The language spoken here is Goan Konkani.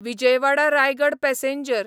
विजयवाडा रायगड पॅसेंजर